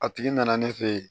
A tigi nana ne fe yen